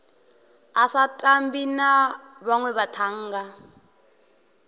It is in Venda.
a sa tambi na vhanwevhathannga